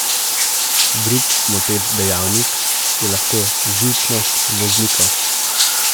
Drug moteč dejavnik je lahko živčnost voznikov.